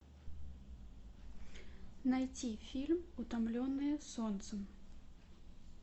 найти фильм утомленные солнцем